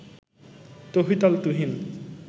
Touhid Al Tuhin